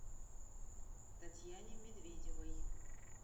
татьяне медведевой